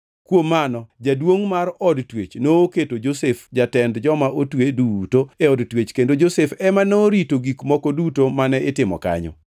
Kuom mano jaduongʼ mar od twech noketo Josef jatend joma otwe duto e od twech kendo Josef ema norito gik moko duto mane itimo kanyo.